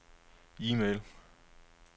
e-mail